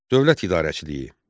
Dövlət idarəçiliyi.